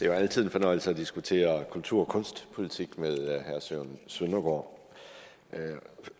jo altid en fornøjelse at diskutere kultur og kunstpolitik med herre søren søndergaard